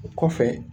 O kɔfɛ